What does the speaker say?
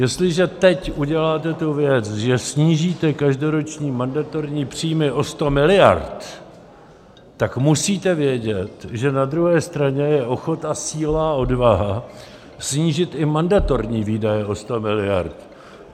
Jestliže teď uděláte tu věc, že snížíte každoroční mandatorní příjmy o 100 miliard, tak musíte vědět, že na druhé straně je ochota, síla a odvaha snížit i mandatorní výdaje o 100 miliard.